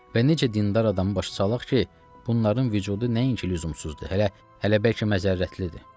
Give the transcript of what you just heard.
Və necə dindar adamı başa salaq ki, bunların vücudu nəinki lüzumsuzdur, hələ bəlkə məzərətlidir.